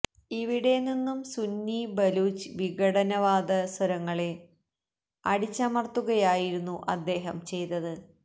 ഇവിടെ നിന്നും സുന്നി ബലൂച്ച് വിഘടനവാദ സ്വരങ്ങളെ അടിച്ചമര്ത്തുകയായിരുന്നു അദ്ദേഹം ചെയ്തത്